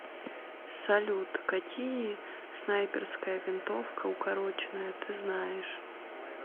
салют какие снайперская винтовка укороченная ты знаешь